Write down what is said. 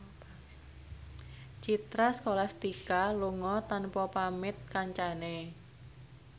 Citra Scholastika lunga tanpa pamit kancane